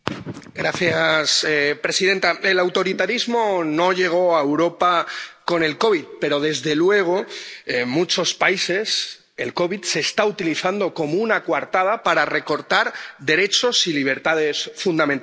Señora presidenta, el autoritarismo no llegó a Europa con el COVID, pero, desde luego, en muchos países el COVID se está utilizando como una coartada para recortar derechos y libertades fundamentales.